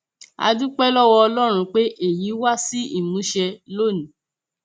a dúpẹ lọwọ ọlọrun pé èyí wá sí ìmúṣẹ lónìí